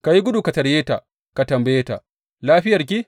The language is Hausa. Ka yi gudu ka tarye ta ka tambaye ta, Lafiyarki?